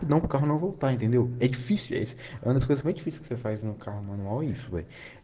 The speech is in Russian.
кнопка нового появилось эти связь она сказала чуть фонограмму и швы